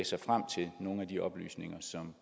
sig frem til nogle af de oplysninger som